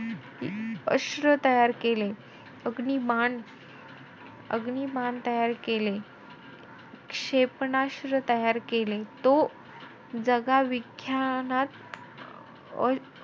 अस्त्र तयार केले. अग्निबाण अग्निबाण तयार केले. क्षेपणास्त्र तयार केले. तो जगाविख्यानात अं